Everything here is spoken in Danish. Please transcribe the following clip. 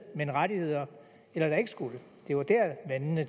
men rettigheder eller der ikke skulle det var der vandene